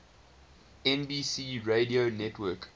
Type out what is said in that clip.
nbc radio network